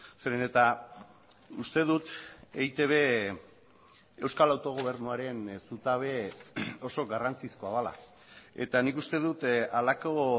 zeren eta uste dut eitb euskal autogobernuaren zutabe oso garrantzizkoa dela eta nik uste dut halako